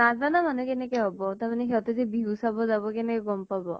নাজানা মানুহ কেনেকে হব, তাৰ মানে সিহঁতে সে বিহু চাব যাব, কেনেকে গম পাব?